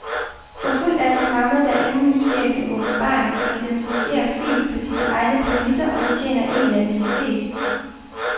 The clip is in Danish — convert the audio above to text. Forfulgt af en fremmed er ingen nyskabende åbenbaring, men den fungerer fint på sine egne præmisser og fortjener egentlig at blive set.